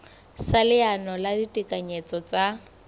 sa leano la ditekanyetso tsa